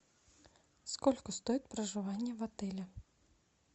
сколько стоит проживание в отеле